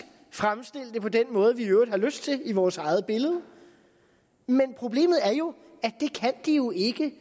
fremstille det på den måde vi i øvrigt har lyst til i vores eget billede men problemet er jo at de ikke